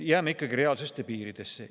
Jääme ikka reaalsuse piiridesse.